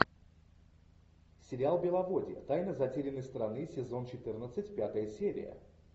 сериал беловодье тайна затерянной страны сезон четырнадцать пятая серия